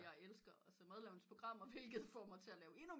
Jeg elsket at se madlavningsprogrammer hvilket får mig til at lave endnu